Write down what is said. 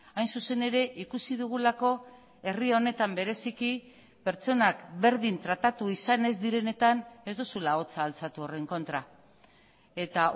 hain zuzen ere ikusi dugulako herri honetan bereziki pertsonak berdin tratatu izan ez direnetan ez duzula ahotsa altxatu horren kontra eta